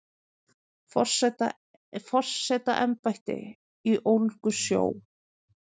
Forsetaembætti í Ólgusjó